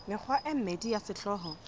mekgwa e mmedi ya sehlooho